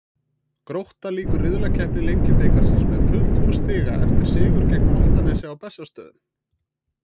Grótta lýkur riðlakeppni Lengjubikarsins með fullt hús stiga eftir sigur gegn Álftanesi á Bessastöðum.